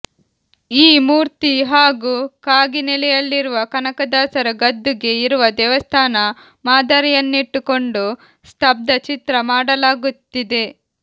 ಈ ಮೂರ್ತಿ ಹಾಗೂ ಕಾಗಿನೆಲೆಯಲ್ಲಿರುವ ಕನಕದಾಸರ ಗದ್ದುಗೆ ಇರುವ ದೇವಸ್ಥಾನ ಮಾದರಿಯನ್ನಿಟ್ಟುಕೊಂಡು ಸ್ತಬ್ಧಚಿತ್ರ ಮಾಡಲಾಗುತ್ತಿದೆ